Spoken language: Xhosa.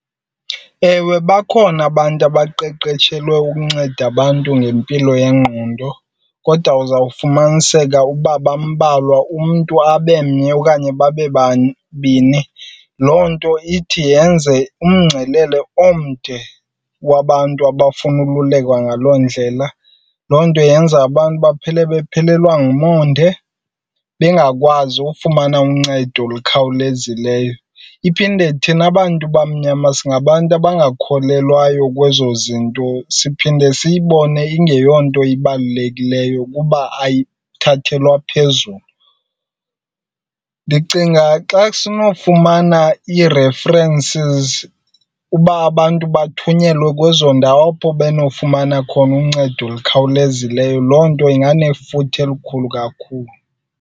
Ewe, bakhona abantu abaqeqetshelwe ukunceda abantu ngempilo yengqondo kodwa uzawufumaniseka uba bambalwa, umntu abe mnye okanye babe babini. Loo nto ithi yenze umngcelele omde wabantu abafuna ukululekwa ngaloo ndlela. Loo nto yenza abantu baphele bephelelwa ngumonde bengakwazi ufumana uncedo olukhawulezileyo. Iphinde thina bantu bamnyama singabantu abangakholelwayo kwezo zinto, siphinde siyibone ingeyonto ibalulekileyo kuba ayithathelwa phezulu. Ndicinga xa sinofumana ii-references uba abantu bathunyelwe kwezo ndawo apho benofumana khona uncedo olukhawulezileyo, loo nto inganefuthe elikhulu kakhulu.